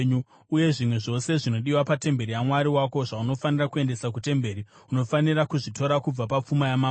Uye zvimwe zvose zvinodiwa patemberi yaMwari wako zvaunofanira kuendesa kutemberi, unofanira kuzvitora kubva papfuma yamambo.